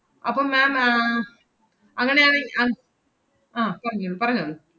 അപ്പൊ ma'am ആഹ് അങ്ങനെയാണെ~ അഹ് ആഹ് പറഞ്ഞോളൂ പറഞ്ഞോളൂ.